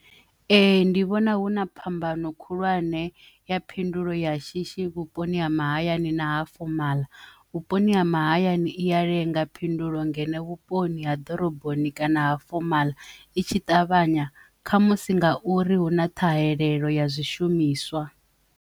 Ee, ndi vhona huna phambano khulwane ya phindulo ya shishi vhuponi ha mahayani na ha fomala vhuponi ha mahayani i ya lenga phindulo ngeno vhuponi ha ḓoroboni kana ha fomala itshi ṱavhanya kha musi nga uri hu na ṱhahelelo ya zwishumiswa.